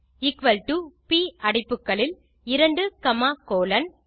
equal top அடைப்புகளில் 2 comma colon